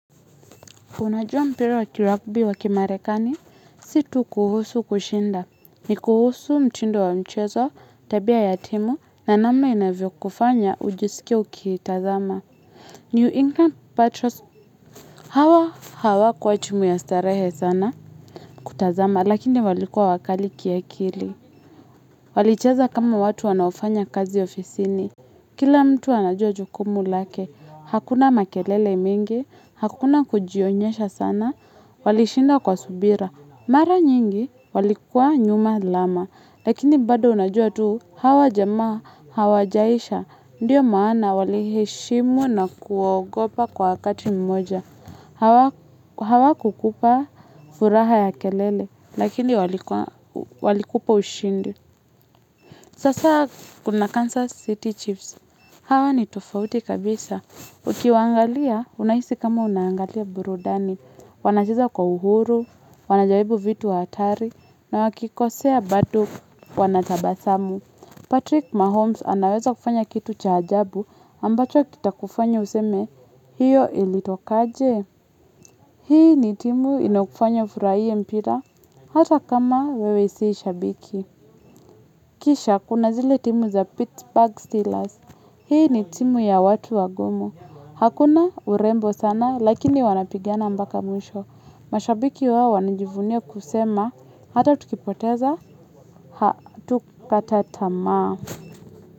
Unajua mpira wa kirugby wa kimarekani, si tu kuhusu kushinda. Ni kuhusu mtindo wa mchezo, tabia ya timu, na namna inavyokufanya ujisikie ukiitazama. New England Patriots hawa hawa kwa chumu ya starehe sana kutazama, lakini walikua wakali kiekili. Walichaza kama watu wanaofanya kazi ofisini. Kila mtu anajua jukumu lake, hakuna makelele mingi, hakuna kujionyesha sana. Walishinda kwa subira. Mara nyingi walikuwa nyuma lama. Lakini bado unajua tu. Hawa jamaa, hawajaisha. Ndiyo maana waliheshimu na kuogopa kwa kati mmoja. Hawakukupa furaha ya kelele. Lakini walikupa ushindi. Sasa kuna Kansas City Chiefs. Hawa ni tofauti kabisa. Ukiwaangalia, unahisi kama unaangalia burudani. Wanacheza kwa uhuru, wanajaribu vitu hatari, na wakikosea bado wanatabasamu. Patrick Mahomes anaweza kufanya kitu cha ajabu ambacho kitakufanya useme hiyo ilitokaje. Hii ni timu inayokufanya ufuraie mpira hata kama wewe si shabiki. Kisha kuna zile timu za Pittsburgh Steelers. Hii ni timu ya watu wagomo. Hakuna urembo sana lakini wanapigana moaka mwisho. Mashabiki wao wanajivunia kusema, hata tukipoteza, hatukukata tamaa.